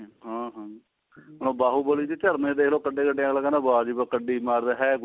ਹਾਂ ਹਾਂ ਹੁਣ ਬਹੁ ਬਲੀ ਦੇ ਝਰਨੇ ਦੇਖਲੋ ਕਿੱਡੇ ਕਿੱਡੇ ਅਗਲਾ ਕਹਿੰਦਾ ਵਾਜ ਵੀ ਕਿੱਡੀ ਮਾਰ ਰਿਹਾ